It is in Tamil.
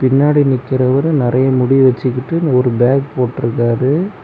பின்னாடி நிக்கிறவரு நெறைய முடி வச்சுக்கிட்டு ஒரு பேக் போட்டுருக்காரு.